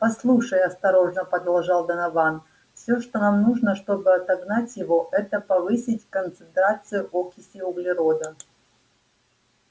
послушай осторожно продолжал донован всё что нам нужно чтобы отогнать его это повысить концентрацию окиси углерода